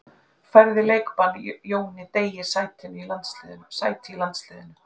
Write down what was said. Færði leikbann Jóni Degi sæti í landsliðinu?